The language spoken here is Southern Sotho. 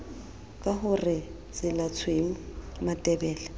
ka ho re tselatshweu matebele